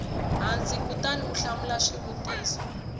hansi kutani u hlamula swivutiso